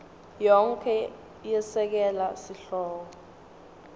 yonkhe yesekela sihloko